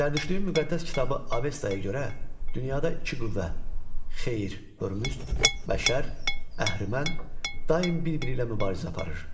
Zərdüştlüyün müqəddəs kitabı Avestaya görə dünyada iki qüvvə, xeyir, hörmüzd və şər əhrimən daim bir-biri ilə mübarizə aparır.